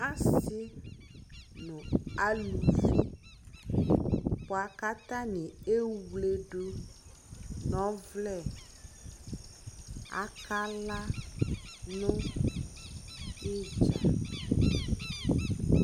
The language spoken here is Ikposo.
Asi nʋ alʋvi bua kʋ atani ewledʋ nʋ ɔvlɛ Akala nʋ idza